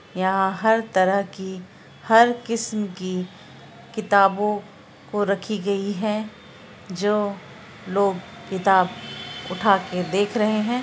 यहाँ हर तरह की हर किस्म की किताबों को रखी गयी है जो लोग किताब उठा के देख रहे हैं।